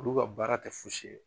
Olu ka baara kɛ fosi ye